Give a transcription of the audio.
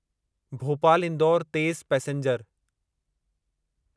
भोपाल इंदौर तेज़ पैसेंजर